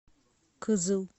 кызыл